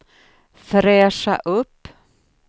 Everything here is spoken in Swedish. fräscha upp